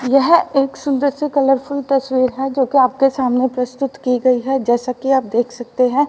यह एक सुंदर सी कलरफुल तस्वीर है जो कि आपके सामने प्रस्तुत की गई है जैसा कि आप देख सकते हैं।